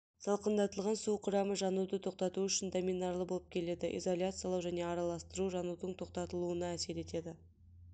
салқындатылған су құрамы жануды тоқтату үшін доминарлы болып келеді изоляциялау және араластыру жанудың тоқтатылуына әсер етеді